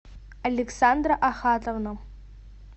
александра ахатовна